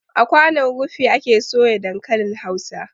A kwanon rufi ake soya dankalin hausa